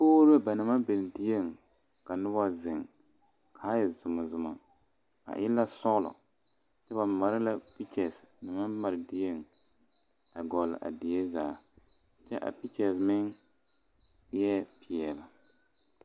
Kogroo ba naŋ maŋ beŋ die ka noba zeŋ kaa e zumazuma a e la sɔlo kyɛ ba mare la pekyɛre a die a goloŋ a die zaa kyɛ a pekyɛ meŋ vɛŋ la.